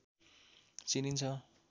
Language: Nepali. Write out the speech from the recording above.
चिनिन्छ